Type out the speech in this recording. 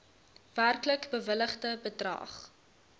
werklik bewilligde bedrag